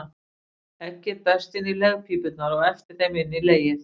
Eggið berst inn í legpípurnar og eftir þeim inn í legið.